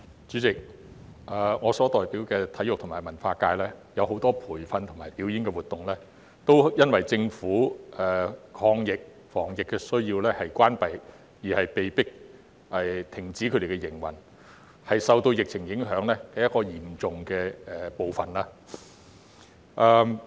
主席，我所代表的體育和文化界有很多培訓和表演活動皆因為政府抗疫防疫的需要而關閉，被迫停止營運，他們是受到疫情影響的一個嚴重的部分。